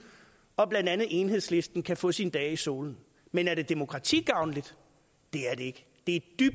og om at blandt andet enhedslisten kan få sine dage i solen men er det demokratigavnligt det er det ikke det er